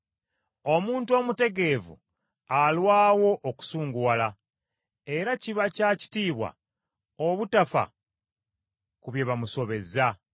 Omuntu omutegeevu alwawo okusunguwala, era kiba kya kitiibwa obutafa ku bye bamusobezza.